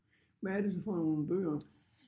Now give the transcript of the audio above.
Hvad er det så for nogle bøger?